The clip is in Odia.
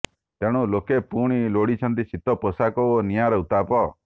ତେଣୁ ଲୋକେ ପୁଣି ଲୋଡିଛନ୍ତି ଶୀତ ପୋଷାକ ଓ ନିଆଁର ଉତ୍ତାପ